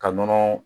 Ka nɔnɔ